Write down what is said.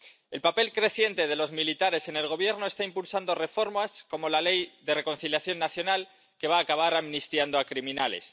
El papel creciente de los militares en el Gobierno está impulsando reformas como la Ley de Reconciliación Nacional que va a acabar amnistiando a criminales.